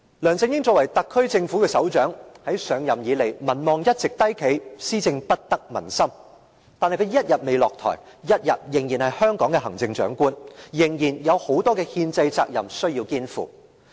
梁振英作為特區政府的首長，自上任以來，民望一直低企，施政不得民心，但他一天未下台，一天仍是香港的行政長官，仍有很多憲制責任需要肩負。